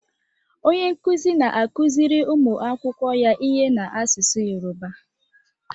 Onye nkuzi na-akụziri ụmụ akwụkwọ ya ihe n'asụsụ Yoruba.